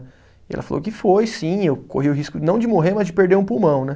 E ela falou que foi, sim, eu corri o risco não de morrer, mas de perder um pulmão, né?